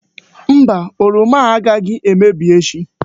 Mba! Oroma ndị a agaghị emebi echi.